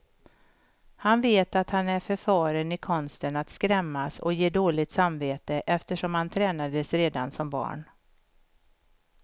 Han vet att han är förfaren i konsten att skrämmas och ge dåligt samvete, eftersom han tränades redan som barn.